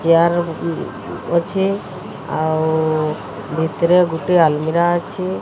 Chair ହଁ ଅଛି ଆଉ ଭିତରେ ଗୁଟିଏ ଆଲମିରା ଅଛି।